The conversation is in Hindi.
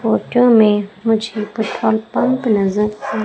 फोटो में मुझे पेट्रोल पंप नजर आ--